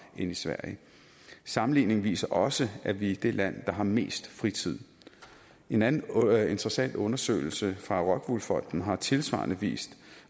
end i sverige sammenligningen viser også at vi er det land der har mest fritid en anden interessant undersøgelse fra rockwool fonden har tilsvarende vist